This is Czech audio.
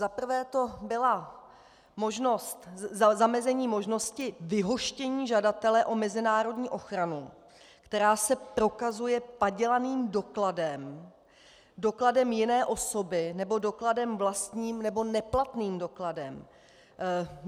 Za prvé to bylo zamezení možnosti vyhoštění žadatele o mezinárodní ochranu, který se prokazuje padělaným dokladem, dokladem jiné osoby nebo dokladem vlastním nebo neplatným dokladem.